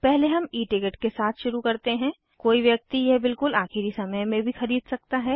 पहले हम E ticket के साथ शुरू करते हैं कोई व्यक्ति यह बिलकुल आखिरी समय में भी खरीद सकता है